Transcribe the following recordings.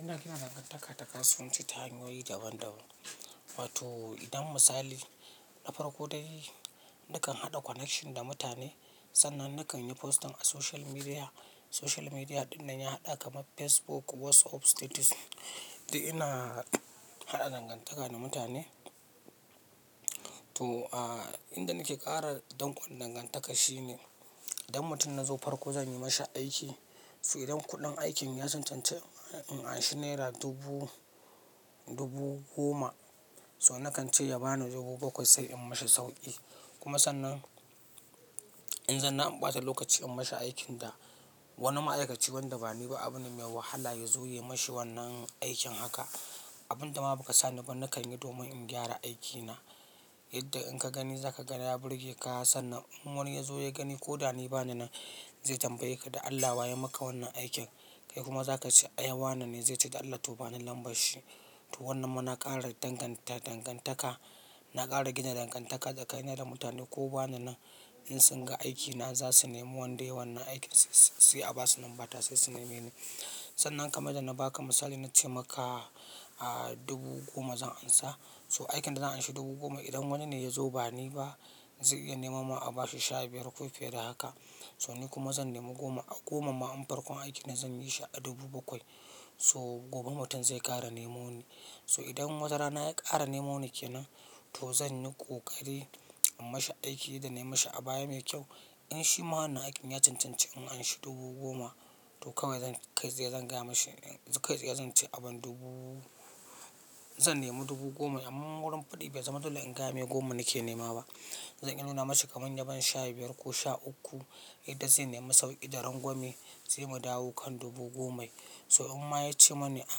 Ina kina danganta ka ta kasuwanci ta hanyoyi daban-daban. Wato idan misali, na farko dai nakan haɗa connection da mutane, sannan nakan yi post ɗin a social media. Social media ɗin nan ya haɗa kamar Facebook, WhatsApp status du ina haɗa danganta ka da mutane. To, ah inda nake ƙara danƙo danganta ka shine, idan mutum na zo farko zan yi mashi aiki. To idan kuɗin aikin ya cancanci in an shi naira dubu, dubu goma, so nakan ce ya bani dubu bakwai sai in mashi sauƙi. Kuma sannan, in zanna in ɓata lokaci in mashi aikin da wani ma'aikaci wanda ba ni ba abin da mai wahala ya zo ya yi mashi wannan aikin haka. Abin da ma ba ka sani ba nakan yi domin in gyara aikina. Yadda in ka gani za ka ga na ya burge ka sannan in wani ya zo ya gani ko da ni ba ni nan. Zai tambaye ka da Allah wa ya maka wannan aikin? Kai kuma za ka ce" ai wane ne zai ce to da Allah ba ni lambar shi. To wannan muna ƙara danganta ka, na ƙara gina danganta ka tsakani na da mutane ko ba na nan, in sun ga aiki na za su nemo wanda yayi wannan aikin, sai a ba su lambar ta sai su nema ni. Sannan kamar da na baka misali na ce maka ah dubu goma zan ansa. So aikin da zan anshi dubu goma idan wani ne ya zo ba ni ba zai iya nemo ma a bashi sha biyar ko fiye da haka. So ni kuma zan nemo goma a goma ma in farkon aiki na zan yi shi a dubu bakwai. So gobe mutum zai ƙara nemo ni. So idan wata rana ya ƙara nemo ni ke nan to zan yi ƙoƙari in mashi aiki da na yi mashi a baya mai kyau. In shi ma wannan aikin ya cancanci in an shi dubu goma to kawai zan kai tsaye zan gaya mashi zan kai tsaye zan ce abin dubu zan nemo dubu goma amma wurin faɗi bai zama dole in gaya mai goma nake nema ba. Zan iya nuna mashi kaman na ban sha biyar ko sha uku yadda zai nemo sauƙi da rangwame, sai mu dawo kan dubu gomai. So in ma ya ce mani a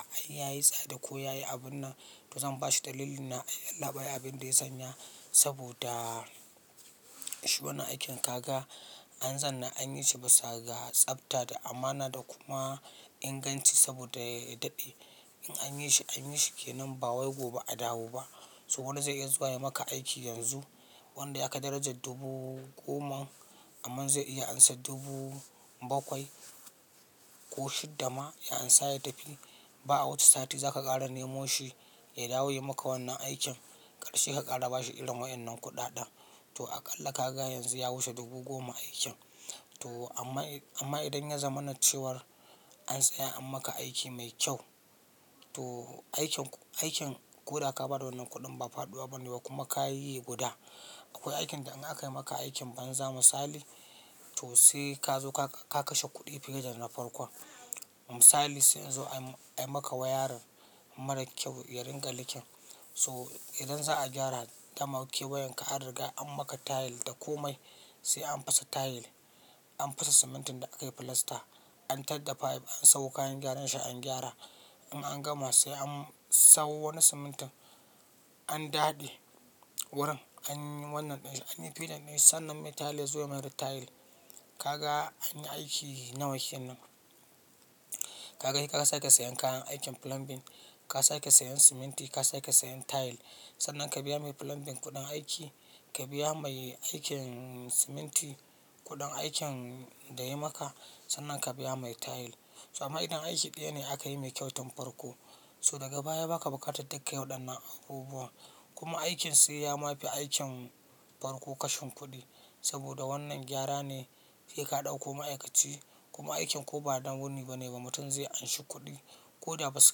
a yayi tsada ko yayi abin nan, to zan bashi dalilin na yallabai abin da ya sanya saboda, shi wannan aikin ka ga an zanna an yi shi bisa ga tsafta da amana da kuma inganci saboda ya daɗe. In anyi shi anyi shi ke nan ba wai gobe a dawo ba. So wani zai iya zuwa ya maka aiki yanzu wanda ya ka daraja dubu goma, amma zai iya ansa dubu bakwai, ko shidda ma ya ansa ya tafi ba a wuce sati za ka ƙara nemo shi ya dawo ya yi maka wannan aikin ƙarshe ka ƙara bashi irin waɗannan kuɗaɗen. To aƙalla kaka yanzu ya wuce dubu goma aikin. To amma idan ya zama na cewar an tsaya an maka aiki mai kyau, to aikin koda ka bada wannan kuɗin ba faɗuwa bane ba kuma kayi yi guda. Akwai aikin da in aka yi maka aikin banza misali, to sai ka zo ka kashe kuɗi fiye da na farkon. Misali sai in zo ayi maka wayarin marar kyau ya ringa likin. So idan za a gyara dama keweyen ka an riga an maka tile da komai, sai an fasa tile, an fasa simintin da aka yi filasta, an tar da fayif, an samo kayan gyaran shi an gyara. In an gama sai an sawo wani simintin an daɗe, wurin anyi wannan ɗin shi anyi filing din shi, sannan mai tiles ya zo ya mayar tile. Kaga anyi aiki nawa kenan. Ka ga ka sa ke sayen kayan aikin plumbing, ka sake sayen siminti, ka sake sayen tile. Sannan ka biya mai plumbing kuɗin aiki, ka biya mai aikin siminti kuɗin aikin da yayi maka sannan ka biya mai tile. To amma idan aiki ɗaya ne aka yi mai kyau, tun farko so daga baya baka bukatar duka waɗan nan abubuwan, kuma aikin sai ya ma fi aikin farko kashin kuɗi saboda wannan gyara ne. Sai ka ɗauko ma'aikaci kuma aikin ko ba na wuni ba ne ba mutum zai anshi kuɗi. Ko da basu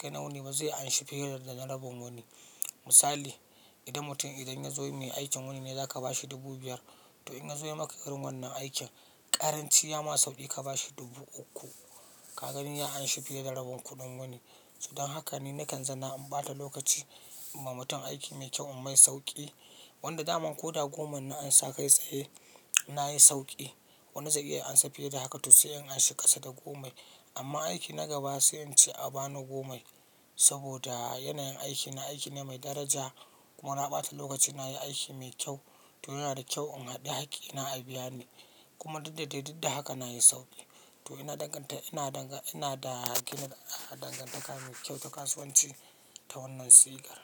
kai na wuni ba zai anshi fiye da na rabon wuni. Misali idan mutum idan ya zo mai aikin wuni ne za ka bashi dubu biyar to in ya zo ya yi maka irin wannan aikin, ƙaranci ya ma sauƙi ka bashi dubu uku. Ka gani ya anshi fiye da rabun kuɗin wuni. So don haka ne nakan zanna in ɓata lokaci, in wa mutum aiki mai kyau in mai sauƙi. Wanda daman ko da goma na ansa kai tsaye na yi sauƙi. Wani zai iya ansa fiye da haka to sai in anshi ƙasa da gomai. Amma aiki na gaba sai in ce a bani gomai, saboda yanayin aiki na aiki ne mai daraja, kuma na ɓata lokaci na yi aiki mai kyau. To yana da kyau in haɗiye hakki ina a biya ni. Kuma didda dai didda haka na yi sauƙi. To ina danganta ina da gina dangantaka mai kyau da kasuwan ci ta wannan sigar.